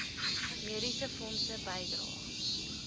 mediese fonds bydrae